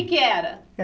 que é que era?